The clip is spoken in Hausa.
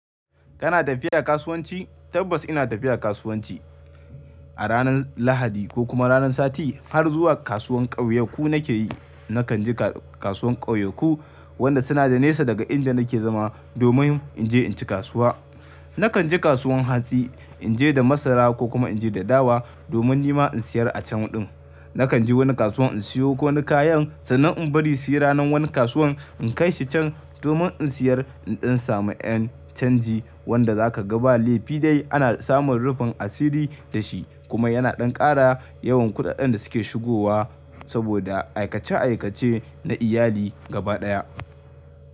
Kana tafiya kasuwanci? Tabbas ina tafiya kasuwanci. A ranar Lahadi ko kuma ranar sati har zuwa kasuwar kauyaku nake yi. Nakan je kasuwar kauyaku wanda suna da nesa daga inda nake zama domin in je in ci kasuwa. Nakan je kasuwar hatsi in je da masara ko kuma in je da dawa domin nima in siyar a can din. Nakan je wani kasuwa in siyo ko wane kayan sannan in bari su yi ranar wani kasuwan in kai shi can domin in siyar in samun yan canji wanda zaka ga ba lefidayi ana samun rufin asiri da shi kuma yana ɗan kara yawan kuɗaɗɗen da suke shigowa saboda aikace aikace na iyali gaba ɗaya.